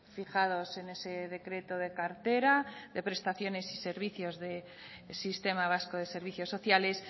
fijados en ese decreto de cartera de prestaciones y servicios de sistema vasco de servicios sociales